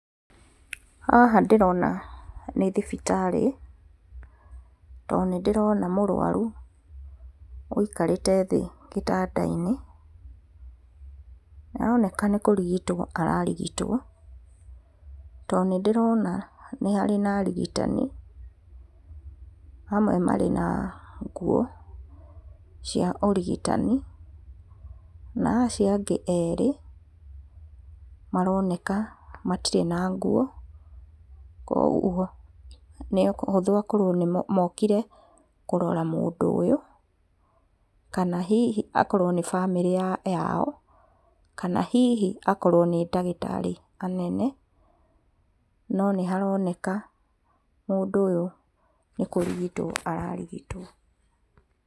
Haha ndĩrona nĩ thibitarĩ, to nĩ ndĩrona mũrwaru aikarĩte thĩ gĩtanda-inĩ, nĩaroneka nĩ kũrigitwo ararigitwo, tondũ nĩ ndĩrona haha harĩ na arigitani, amwe marĩ na nguo cia ũrigitani, na acio angĩ erĩ maroneka matirĩ na nguo, koguo nĩ ũhũthũmakorwo mokire kũrora mũndũ ũyũ, kana hihi akorwo nĩ bamĩrĩ yao, kana hihi akorwo nĩ ndagĩtarĩ anene, no nĩ haroneka mũndũ ũyũ nĩ kũrigitwo ararigitwo.